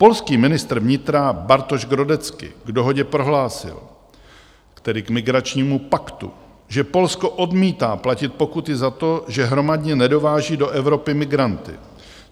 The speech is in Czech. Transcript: Polský ministr vnitra Bartosz Grodecki k dohodě prohlásil, tedy k migračnímu paktu, že Polsko odmítá platit pokuty za to, že hromadně nedováží do Evropy migranty.